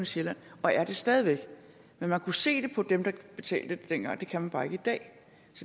sjælland og er det stadig væk men man kunne se det på dem der betalte dengang det kan man bare ikke i dag